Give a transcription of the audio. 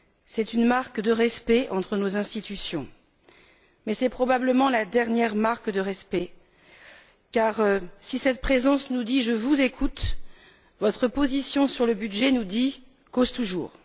C'est une marque de respect entre nos institutions mais c'est probablement la dernière marque de respect car si cette présence nous dit Je vous écoute, votre position sur le budget nous dit Cause toujours.